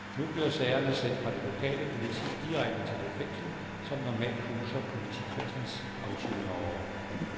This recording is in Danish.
Nu bliver sagerne sendt fra det lokale politi direkte til det fængsel, som normalt huser politikredsens afsonere.